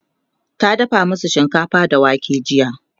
ta dafa masu shinkafa da wake jiya